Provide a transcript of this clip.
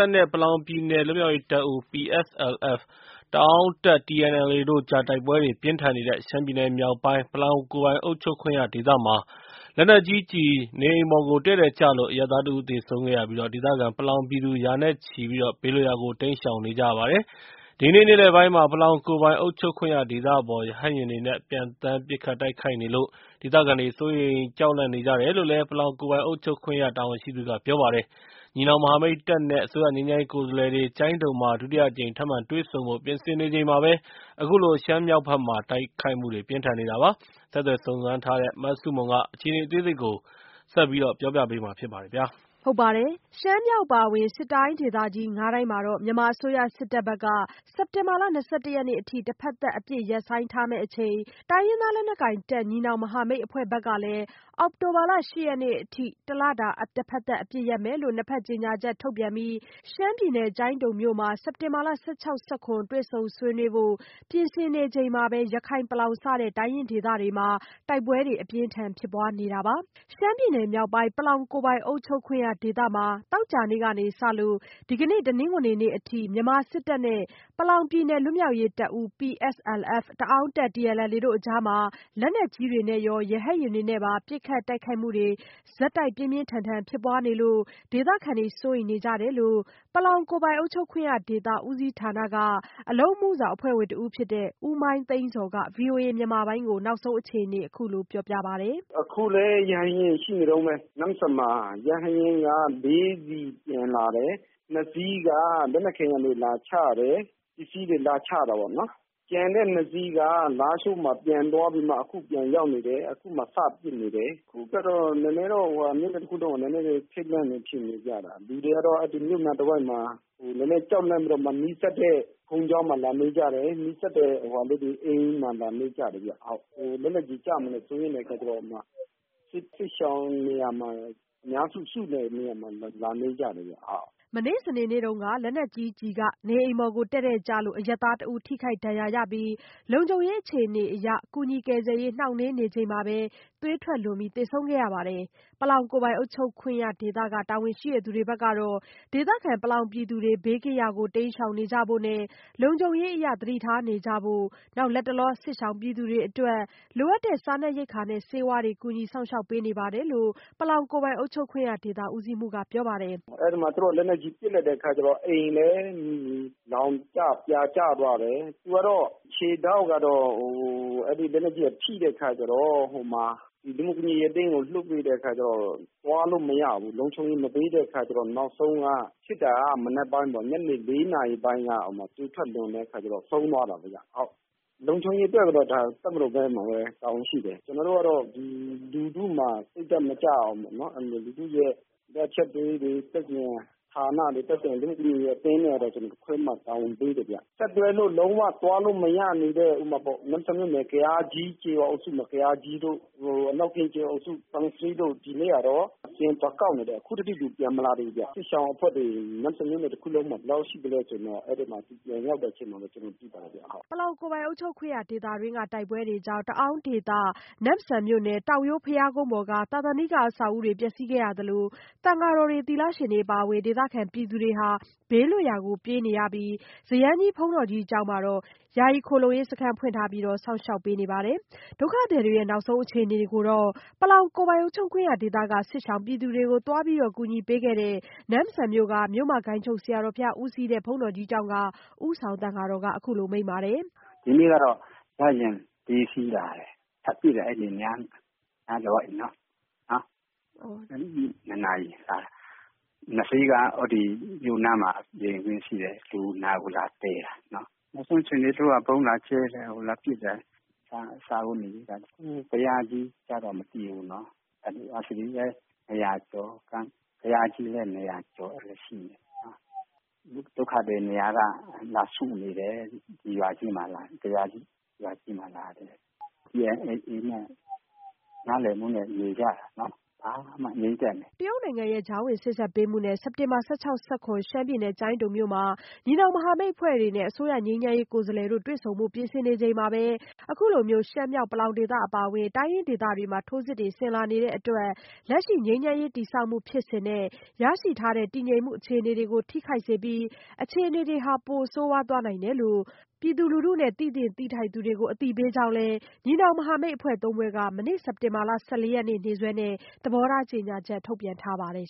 ပ်နဲ့ ပလောင်ပြည်နယ် လွတ်မြောက်ရေးတပ်ဦး PSLF/တအာင်းတပ် TNLA တို့ကြား တိုက်ပွဲတွေ ပြင်းထန်နေတဲ့ ရှမ်းပြည်နယ်မြောက်ပိုင်း ပလောင်ကိုယ်ပိုင်အုပ်ချုပ်ခွင့်ရဒေသမှာ လက်နက်ကြီးကျည် နေအိမ်ပေါ် တည့်တည့်ကျလို့ အရပ်သားတဦး သေဆုံးခဲ့ရပြီး ဒေသခံပလောင်ပြည်သူ ရာနဲ့ချီ ဘေးလွတ်ရာ တိမ်းရှောင်နေကြရပါတယ်။ ဒီကနေ့နေ့လယ်ပိုင်းမှာ ပလောင်ကိုယ်ပိုင်အုပ်ချုပ်ခွင့်ရဒေသပေါ် ရဟတ်ယာဉ်တွေနဲ့ ပံျသန်း ပစ်ခတ်တိုက်ခိုက်နေလို့ ဒေသခံတွေ စိုးရိမ်ကြောက်လန့်နေကြတယ်လို့ ပလောင်ကိုယ်ပိုင်အုပ်ချုပ်ခွင့်ရ တာဝန်ရှိသူက ပြောပါတယ်။ ညီနောင်မဟာမိတ်တပ်နဲ့ အစိုးရ ငြိမ်းချမ်းရေးကိုယ်စားလှယ်တွေ ကျိုင်းတုံမှာ ဒုတိယအကြိမ် ထပ်မံတွေ့ဆုံဖို့ ပြင်ဆင်နေချိန်မှာပဲ အခုလို ရှမ်းမြောက်ဘက်မှာ တိုက်ခိုက်မှုတွေ ပြင်းထန်နေတာပါ။ ဆက်သွယ်စုံစမ်းထားတဲ့ မဆုမွန်က အပြည့်အစုံ တင်ပြပေးထားပါတယ်။ ရှမ်းမြောက်အပါအဝင် စစ်တိုင်းဒေသကြီးငါးတိုင်းမှာ မြန်မာအစိုးရစစ်တပ်ဘက်က စက်တင်ဘာလ ၂၁ ရက်နေ့အထိ တဖက်သတ် အပစ်ရပ်ဆိုင်းထားမယ့်အချိန် တိုင်းရင်းသားလက်နက်ကိုင်တပ် ညီနောင်မဟာမိတ်အဖွဲ့ဘက်ကလည်း အောက်တိုဘာ ၈ ရက်နေ့အထိ တလတာ တဖက်သတ် အပစ်ရပ်မယ်လို့ နှစ်ဖက် ကြေညာချက် ထုတ်ပြန်ပြီး ကျိုင်းတံုံမှာ စက်တင်ဘာ ၁၆-၁၇ တွေ့ဆုံဆွေးနွေးဖို့ ပြင်ဆင်နေချိန်မှာပဲ ရခိုင်-ပလောင် စတဲ့ တိုင်းရင်းဒေသတွေမှာ တိုက်ပွဲတွေ အပြင်းထန် ဖြစ်ပွားနေတာပါ။ ရှမ်းပြည်နယ်မြောက်ပိုင်း ပလောင်ကိုယ်ပိုင်အုပ်ချုပ်ခွင့်ရဒေသမှာ သောကြာနေ့ကစလို့ ဒီကနေ့ တနင်္ဂနွေနေ့အထိ မြန်မာစစ်တပ်နဲ့ ပလောင်ပြည်နယ် လွတ်မြောက်ရေးတပ်ဦး PSLF/တအာင်းတပ် TNLA တို့ကြား လက်နက်ကြီးနဲ့ရော ရဟတ်ယာဉ်တွေနဲ့ပါ ပစ်ခတ်တိုက်ခိုက်မှုတွေ ဆက်တိုက် ပြင်းပြင်းထန်ထန် ဖြစ်ပွားနေလို့ ဒေသခံတွေ စိုးရိမ်နေကြပါတယ်။ ပလောင်ကိုယ်ပိုင်အုပ်ချုပ်ခွင့်ရဒေသ ဦးစီးဌာန အလုပ်အမှုဆောင်အဖွဲ့ဝင် ဦးမိုင်းသိန်းဇော်က ဗွီအိုအေမြန်မာပိုင်းကို နောက်ဆုံးအခြေအနေ အခုလို ပြောပြပါတယ်။ “အခုလည်း ရဟတ်ယာဉ် ရှိနေတုန်းပဲ။ နမ့်ဆန်မှာ ရဟတ်ယာဉ်က လေးစီးပျံလာတယ်။ နှစ်စီးက လက်နက်ခဲယမ်းတွေ လာချတယ်၊ ပစ္စည်းတွေ လာချတာပေါ့။ ကျန်တဲ့နှစ်စီးက လားရှိုးမှာ ပြန်သွားပြီးမှ အခု ပြန်ရောက်နေတယ်။ အခု စပစ်နေတယ်။ အခုတော့ မြို့ခံတွေက နည်းနည်းတော့ ထိတ်လန့်နေကြတယ်။ လူတွေကတော့ ဒီမြို့နားတဝိုက်မှာ ကြောက်လန့်ပြီးတော့ နီးစပ်တဲ့ ဘုန်းကြီးကျောင်းမှာ လာနေကြတယ်။ နီးစပ်တဲ့အိမ်တွေမှာ လာနေကြတယ်။ လက်နက်ကြီးကျမှာ စိုးရိမ်တဲ့အခါကျတော့ စစ်ရှောင်နေရာမှာ အများစု စုတဲ့နေရာမှာ လာနေကြတယ်။” မနေ့ စနေ့နေ့တုန်းက လက်နက်ကြီးကျည် နေအိမ်ပေါ် တည့်တည့်ကျလို့ အရပ်သားတဦး ထိခိုက်ဒဏ်ရာရခဲ့ပြီး လုံခြုံရေးအခြေအနေအရ ကူညီကယ်ဆယ်ရေး နှောင့်နှေးနေချိန်မှာပဲ သွေးထွက်လွန် သေဆုံးခဲ့ရပါတယ်။ ပလောင်ကိုယ်ပိုင်အုပ်ချုပ်ရေး တာဝန်ရှိသူတွေဘက်က ဒေသခံ ပလောင်ပြည်သူတွေကို ဘေးကင်းရာတွေကို တိမ်းရှောင်ကြဖို့နဲ့ လုံခြုံရေးအရ သတိထားနေကြဖို့ လတ်တလော စစ်ရှောင်ပြည်သူတွေအတွက် လိုအပ်တဲ့ စားနပ်ရိက္ခာနဲ့ ဆေးဝါးတွေ ကူညီစောင့်ရှောက်ပေးနေပါတယ်လို့ ပလောင်ကိုယ်ပိုင်အုပ်ချုပ်ခွင့်ရဒေသ ဦးစီးမှူးက ပြောပါတယ်။ “အဲဒီမှာ လက်နက်ကြီး ပစ်လိုက်တဲ့အခါကျတော့ အိမ်လည်း ပြာကျသွားတယ်။ သူကတော့ ခြေထောက်မှာ လက်နက်ကြီးထိတဲ့အခါကျတော့ လူမှုဖူလုံရေးအသင်းကို လွှတ်ပေးတဲ့အခါကျတော့ သွားလို့မရဘူး၊ လုံခြုံရေးမပေးတဲ့အခါကျတော့ နောက်ဆုံးက ဖြစ်တာက မနက်ပိုင်းပေါ့။ ညနေ လေးနာရီလောက်က သွေးထွက်လွန်တဲ့အခါကျတော့ ဆုံးသွားတာပေါ့။ လုံခြုံရေးအတွက်ကတော့ တပ်မတော်ဘက်မှာပဲ တာဝန်ရှိတယ်။ ကျနော်တို့ကတော့ လူထု စိတ်ဓာတ်မကျအောင် လူထုရဲ့ လိုအပ်ချက်လေးတွေ၊ သက်ဆိုင်ရာဌာနတွေ၊ သက်ဆိုင်ရာ လူမှုဖူလုံရေးအသင်းတွေ ခေါ်ပြီး တာဝန်ပေးတယ်ဗျ။ ဆက်သွားလို့ လုံးဝသွားလို့မရတဲ့ ဥပမာ နမ့်ဆန်မြို့နယ် ဇယန်းကြီးကျေးရွာအုပ်စုမှာ ဇယန်းကြီးတို့၊ အနောက်ပြင်ကျော်စုတို့ ဒီနေ့ကတေ့ စာရင်းသွားကောက်နေတယ်။ အခုထိ ပြန်မလာသေးဘူးဗျ။ စစ်ရှောင်အဖွဲ့တွေ နမ့်ဆန်မြို့နယ် တခုလုံးမှာ ဘယ်လောက်ရှိသလဲဆိုတာ သူတို့ပြန်ရောက်တဲ့အချိန်မှာ သိမှာပေါ့။” ပလောင်ကိုယ်ပိုင်အုပ်ချုပ်ခွင့်ရဒေသတွင်း တိုက်ပွဲတွေကြောင့် တအာင်းဒေသ နမ့်ဆန်မြို့နယ် တောင်ရိုးဘုရားကုန်းပေါ်က သာသနိက အဆောက်အဦတွေပါ ပျက်စီးခဲ့ရသလို သံဃာတော်တွေ အပါအဝင် ဒေသခံပြည်သူတွေ ဘေးလွတ်ရာကို ပြေးခဲ့ကြရပြီး ဇယန်းကြီး ဘုန်းတော်ကြီးကျောင်းမှာ ယာယီခိုလှုံရေးစခန်းဖွင့်ထားပြီး စောင့်ရှောက်ပေးနေပါတယ်။ ဒုက္ခသည်တွေရဲ့ အခြေအနေ ပလောင်အုပ်ချုပ်ခွင့်ရဒေသက စစ်ရှောင်ပြည်သူတွေကို သွားကူညီပေးနေတဲ့ နမ့်ဆန်မြို့ မြို့မဂိုဏ်းချုပ်ဆရာတော်ဘုရား ဦးစီးတဲ့ ဘုန်းတော်ကြီးကျောင်းက ဦးဆောင်သံဃာတော်က မိန့်ပါတယ်။ “ဒီနေ့ကတော့ ရဟတ်ယာဉ်က လေးစီးလာတယ်။ ထပ်ပစ်တယ် အဲ့ဒီအနားတဝိုက်နော်။ ညနေ ၂ နာရီက။ နှစ်စီးက မြို့နားက လေယာဉ်ကွင်းရှိတယ်။ လူနာကို လာသယ်တာ။ အခုချိန်ထိ သူတို့က ဗုံးလာကြဲတယ်၊ လာပစ်တယ်။ စားဝတ်နေရေးတွေ အတွက်ကတော့ ဘုရားကြီးအနားကိုတော့ မသိဘူး။ ဒုက္ခသည်တွေက နမ့်ဆန်က ၂၀၀ ကျော်ရှိတယ်။ ဇယန်းကြီးမှာလည်း ၂၀၀ ကျော်။ ဒုက္ခသည်တွေများလာပြီး ဇယန်းကြီးရွာကြီးမှာ လာစုနေကြတယ်။ ဒီမှာက TNLA နဲ့ နားလည်မှုနဲ့ နေကြတယ်။ ဘာမှမဖြစ်ဘူး၊ ငြိမ်းချမ်းတယ်။” တရုတ်နိုင်ငံရဲ့ ကြားဝင်စေ့စပ်ပေးမှုနဲ့ စက်တင်ဘာ ၁၆-၁၇ ရှမ်းပြည်နယ် ကျိုင်းတုံမြို့မှာ ညီနောင်မဟာမိတ်အဖွဲ့တွေနဲ့ အစိုးရ ငြိမ်းချမ်းရေးကိုယ်စားလှယ်တွေ တွေ့ဆုံဖို့ ပြင်ဆင်နေချိန် အခုလို ရှမ်းမြောက် ပလောင်ဒေသ အပါအဝင် တိုင်းရင်းဒေသတွေမှာ ထိုးစစ်ဆင်လာနေတဲ့အတွက် လက်ရှိ ငြိမ်းချမ်းရေးတည်ဆောက်မှု ဖြစ်စဉ်နဲ့ ရရှိထားတဲ့ တည်ငြိမ်မှု အခြေအနေတွေကို ထိခိုက်စေနိုင်ပြီး အခြေအနေတွေဟာ ပိုဆိုးရွားသွားနိုင်တယ်လို့ ပြည်သူလူထုနဲ့ သိသင့်သိထိုက်သူတွေကို အသိပေးကြောင်းလည်း ညီနောင်မဟာမိတ်အဖွဲ့ ၃ ဖွဲ့က မနေ့ စက်တင်ဘာလ ၁၄ ရက်နေ့ နေ့စွဲနဲ့ သဘောထားကြေညာချက် ထုတ်ပြန်ထားပါတယ်